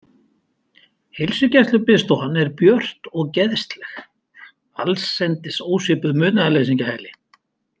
Heilsugæslubiðstofan er björt og geðsleg, allsendis ósvipuð munaðarleysingjahæli.